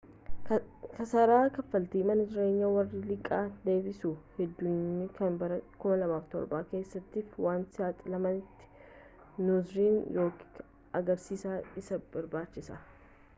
kasaara kaffaltii mana jireenya warra liqaa deebisuu hindandeenyee kan bara 2007 keessaatiif waan saaxilamteef noorzerni rook gargaarsa isii barbaachise.